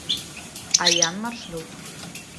аян маршрут